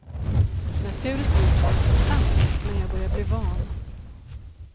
Naturligtvis är inte det sant, men jag börjar bli van.